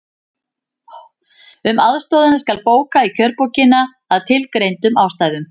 Um aðstoðina skal bóka í kjörbókina, að tilgreindum ástæðum.